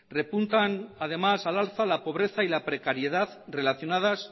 repuntan además al alza la pobreza y la precariedad relacionadas